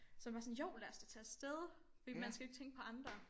Så man bare sådan jo lad os da tage afste fordi man skal jo ikke tænke på andre